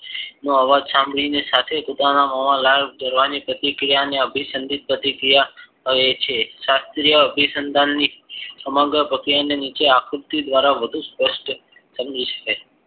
નો અવાજ સાંભરીને સાથે કૂતરામાં ના મોમાં લાળ જરવાની પ્રતિક્રિયાને અભિસંદિત પ્રતિરિયા કહે છે શાસ્ત્રીય અભિસંદન ની સમગ્ર ની નીચે આક્રુતી દ્વારા વધુ સ્પષ્ટ સમજી શકાય